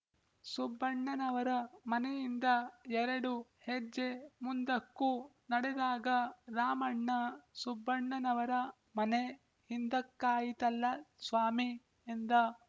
ಸುಬ್ಬಣ್ಣನವರ ಮನೆಯಿಂದ ಎರಡು ಹೆಜ್ಜೆ ಮುಂದಕ್ಕೂ ನಡೆದಾಗ ರಾಮಣ್ಣ ಸುಬ್ಬಣ್ಣನವರ ಮನೆ ಹಿಂದಕ್ಕಾಯಿತಲ್ಲ ಸ್ವಾಮಿ ಎಂದ